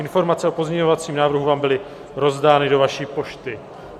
Informace o pozměňovacím návrhu vám byly rozdány do vaší pošty.